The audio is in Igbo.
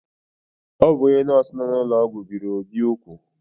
O bụ onye nọọsụ nọ n’ụlọọgwụ biri Obi úgwù.